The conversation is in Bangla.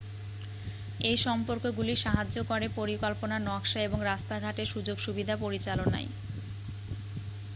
এই সম্পর্কগুলি সাহায্য করে পরিকল্পনা নকশা এবং রাস্তাঘাটের সুযোগসুবিধা পরিচালনায়